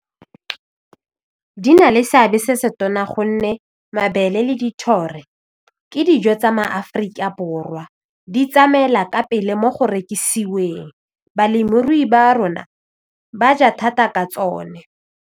Di na le seabe se se tona gonne mabele le le ke dijo tsa maAforika Borwa di tsamaela ka pele mo go rekisiwe teng balemirui ba rona ba ja thata ka tsone.